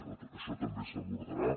tot això també s’abordarà